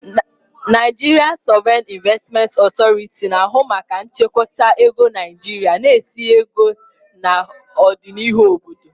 Nigerian Sovereign Investment Authority, na-ahụ maka nchekwa ego Naijiria na itinye ego na ọdịnihu obodo.